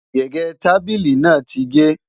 gégé tábìlì nà tí ge